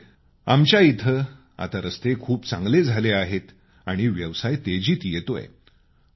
त्यामुळे आमच्या इथं आता रस्ते खूप चांगले झाले आहेत आणि व्यवसाय तेजीत येतोय